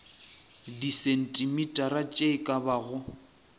disentimetara tše e ka bago